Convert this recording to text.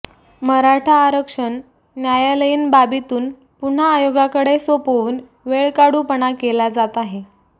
मराठा आरक्षण न्यायालयीन बाबीतून पुन्हा आयोगाकडे सोपवून वेळकाढूपणा केला जात आहे